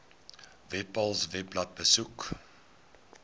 webpals webblad besoek